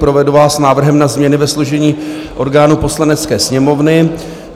Provedu vás návrhem na změny ve složení orgánů Poslanecké sněmovny.